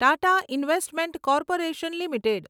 Tata investment corporation limited